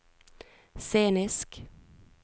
scenisk